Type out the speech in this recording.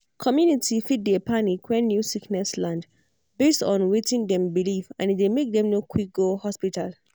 community fit dey panic when new sickness land based on wetin dem believe and e dey make dem no quick go hospital.